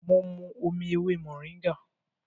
Mo mu omi ewé mòríngà